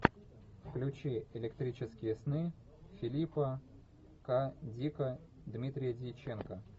включи электрические сны филипа к дика дмитрия дьяченко